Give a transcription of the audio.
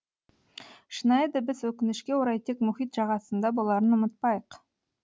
шынайы дыбыс өкінішке орай тек мұхит жағасында боларын ұмытпайық